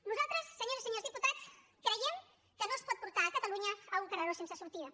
nosaltres senyores i senyors diputats creiem que no es pot portar catalunya a un carreró sense sortida